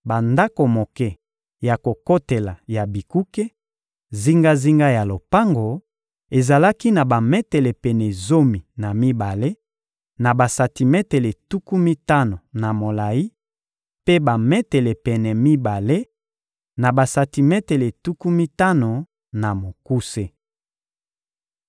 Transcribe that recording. Bandako moke ya kokotela ya bikuke, zingazinga ya lopango, ezalaki na bametele pene zomi na mibale na basantimetele tuku mitano na molayi, mpe bametele pene mibale na basantimetele tuku mitano na mokuse.